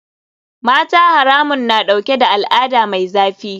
Mata haramun na dauke da al'ada mai zafi.